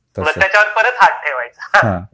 मग त्याच्यावर परत हात ठेवायचा